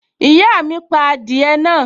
Ìyá mi pa adìẹ náà